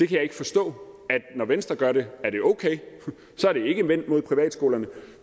kan ikke forstå at når venstre gør det er det okay og så er det ikke vendt mod privatskolerne